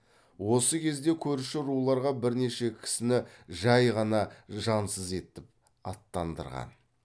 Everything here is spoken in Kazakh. осы кезде көрші руларға бірнеше кісіні жай ғана жансыз етіп аттандырған